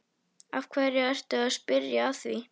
Af hverju ertu að spyrja að því.